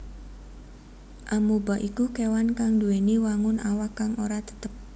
Amoeba iku kéwan kang nduwèni wangun awak kang ora tetep